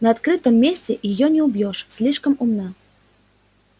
на открытом месте её не убьёшь слишком умна